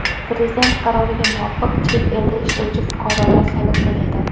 Prezident qaroriga muvofiq chet elda ishlovchi fuqarolar soliq to‘laydi.